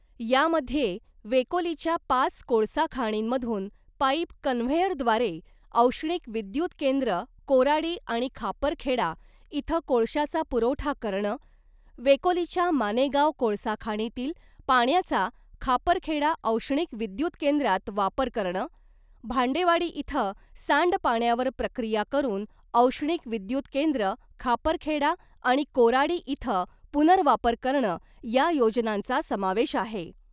यामध्ये वेकोलिच्या पाच कोळसा खाणींमधून पाईप कन्व्हेयरद्वारे औष्णिक विद्युत केंद्र कोराडी आणि खापरखेडा इथं कोळश्याचा पुरवठा करणं , वेकोलिच्या मानेगाव कोळसा खाणीतील पाण्याचा खापरखेडा औष्णिक विद्युत केंद्रात वापर करणं , भांडेवाडी इथं सांडपाण्यावर प्रक्रिया करून औष्णिक विद्युत केंद्र खापरखेडा आणि कोराडी इथं पुनर्वापर करणं या योजनांचा समावेश आहे .